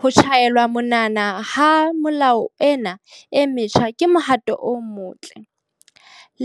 Ho tjhaelwa monwana ha melao ena e metjha ke mohato o motle.